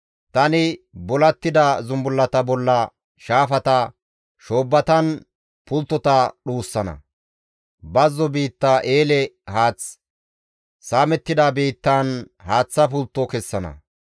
Tani bulattida zumbullata bolla shaafata, shoobbatan pulttota dhuussana; bazzo biitta eele haath, saamettida biittaan haaththa pultto kessana.